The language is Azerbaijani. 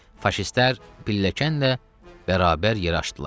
Faşistlər pilləkənlə bərabər yerə aşdılar.